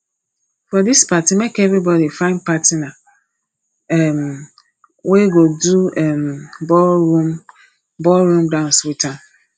for dis party make everybodi find partner um wey go do um ballroom ballroom dance wit her